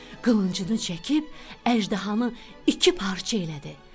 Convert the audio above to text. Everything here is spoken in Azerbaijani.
Qılıncını çəkib əjdahanı iki parça elədi.